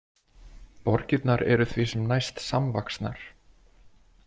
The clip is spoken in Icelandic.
Borgirnar eru því sem næst samvaxnar.